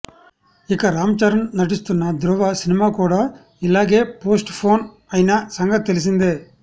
ఇక రామ్ చరణ్ నటిస్తున్న ధ్రువ సినిమా కూడా ఇలాగే పోస్ట్ పోన్ అయిన సంగతి తెలిసిందే